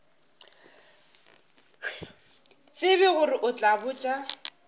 tsebe gore o tla botša